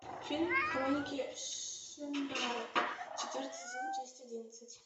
фильм хроники шаннары четвертый сезон часть одиннадцать